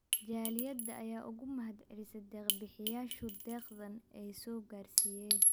Jaaliyada ayaa uga mahad celisay deeq bixiyayashu deeqdan ay soo gaarsiiyeen.